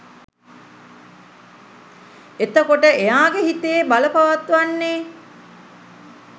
එතකොට එයාගේ හිතේ බලපවත්වන්නේ